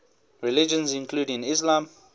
religions including islam